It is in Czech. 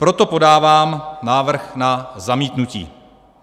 Proto podávám návrh na zamítnutí.